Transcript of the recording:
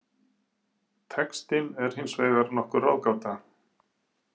Textinn er hins vegar nokkur ráðgáta.